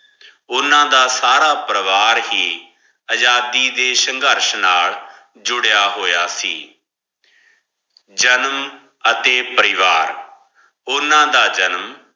ਓਨਾ ਦਾ ਸਾਰਾ ਪਰਵਾਰ ਕੀ ਅਜਾਦੀ ਦੇ ਸ਼ੰਘਰ ਸ਼ਾਨਾਰ ਜੂਰਿਯ ਹੋਯਾ ਸੇ ਜਨਮ ਹਾਥੀ ਪਰਿਵਾਰ ਓਨਾ ਦਾ ਜਨਮ